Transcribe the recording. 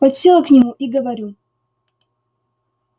подсела к нему и говорю